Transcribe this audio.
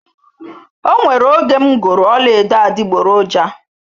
O nwere oge m goro ọla edo adiboroja